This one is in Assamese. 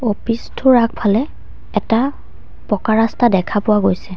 অফিচ টোৰ আগফালে এটা পকা ৰাস্তা দেখা পোৱা গৈছে।